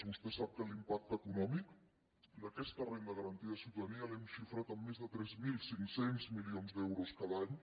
vostè sap que l’impacte econòmic d’aquesta renda garantida de ciutadania l’hem xifrat en més de tres mil cinc cents milions d’euros cada any